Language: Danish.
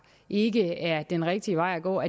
ikke er den rigtige vej at gå